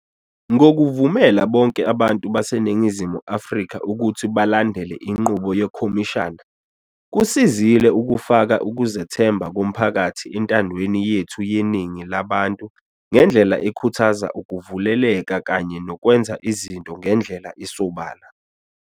Ngokuvumela bonke abantu baseNingizimu Afrika ukuthi balandele inqubo yekhomishana, kusizile ukufaka ukuzethemba komphakathi entandweni yethu yeningi labantu ngendlela ekhuthaza ukuvuleleka kanye nokwenza izinto ngendlela esobala.